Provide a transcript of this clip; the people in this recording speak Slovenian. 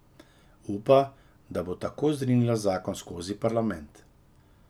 Upa, da bo tako zrinila zakon skozi parlament.